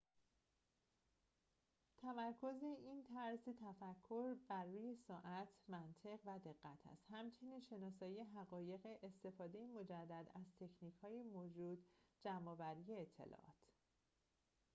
تمرکز این طرز فکر بر روی سرعت منطق و دقت است همچنین شناسایی حقایق استفاده مجدد از تکنیک های موجود جمع آوری اطلاعات